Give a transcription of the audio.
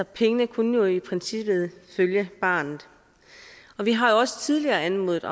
pengene kunne jo i princippet følge barnet vi har jo også tidligere anmodet